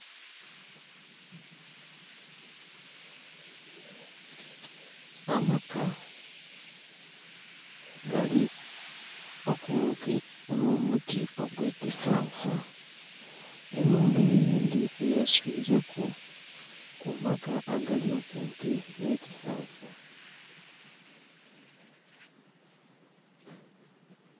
Amaka gali kumpi n'omuti ogw'ekisansa, ennhumba eyindhi yeswileku ku maka agali kumpi n'ekisansa.